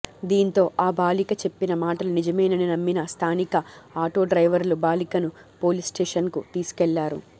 దీంతో ఆ బాలిక చెప్పిన మాటలు నిజమేనని నమ్మిన స్థానిక ఆటోడ్రైవర్లు బాలికను పోలీస్స్టేషన్కు తీసుకెళ్లారు